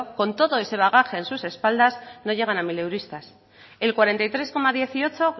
con todo ese bagaje en sus espaldas no llegan a mileuristas el cuarenta y tres coma dieciocho